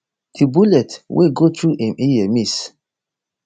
di bullet wey go through im ear miss